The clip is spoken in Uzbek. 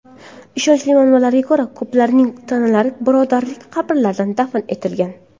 Ishonchli manbalarga ko‘ra, ko‘plarning tanalari birodarlik qabrlarida dafn etilgan.